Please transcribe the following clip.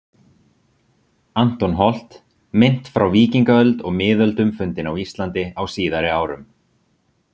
Anton Holt, Mynt frá víkingaöld og miðöldum fundin á Íslandi á síðari árum